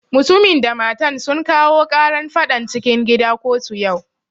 Mutumin da matan sun kawo ƙaran faɗan cikin gida kotu yau